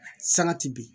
Sangati bi